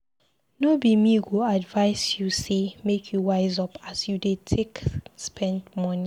No be me go advise you sey make you wise up as you dey take spend moni.